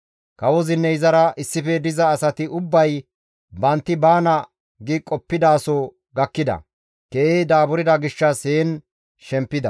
Kawozinne izara issife diza asati ubbay bantti baana gi qoppidaso gakkida; keehi daaburda gishshas heen shempida.